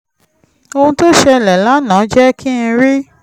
ohun tó ṣẹlẹ̀ lánàá jẹ́ kí n rí